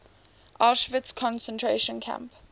auschwitz concentration camp